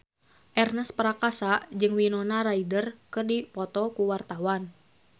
Ernest Prakasa jeung Winona Ryder keur dipoto ku wartawan